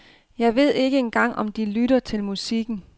Jeg ved ikke engang om de lytter til musikken.